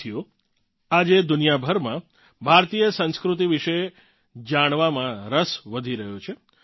સાથીઓ આજે દુનિયાભરમાં ભારતીય સંસ્કૃતિ વિશે જાણવામાં રસ વધી રહ્યો છે